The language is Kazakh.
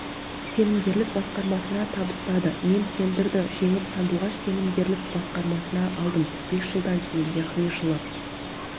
сенімгерлік басқармасына табыстады мен тендерді жеңіп сандуғаш сенімгерлік басқармасына алдым бес жылдан кейін яғни жылы